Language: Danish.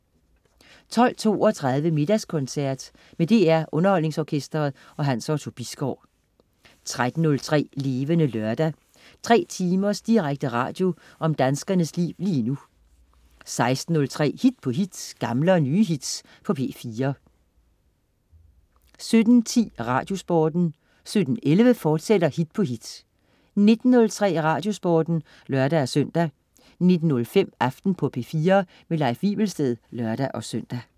12.32 Middagskoncert. Med DR Underholdningsorkestret. Hans Otto Bisgaard 13.03 Levende Lørdag. 3 timers direkte radio om danskernes liv lige nu 16.03 Hit på hit. Gamle og nye hits på P4 17.10 Radiosporten 17.11 Hit på hit, fortsat 19.03 Radiosporten (lør-søn) 19.05 Aften på P4. Leif Wivelsted (lør-søn)